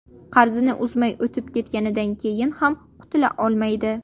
Qarzini uzmay o‘tib ketganidan keyin ham qutula olmaydi.